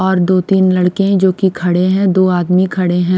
और दो-तीन लड़के हैं जो कि खड़े हैं दो आदमी खड़े हैं।